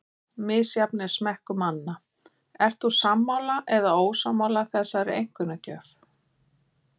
Misjafn er smekkur manna, Ert þú sammála eða ósammála þessari einkunnagjöf?